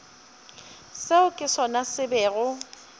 seo ke sona se bego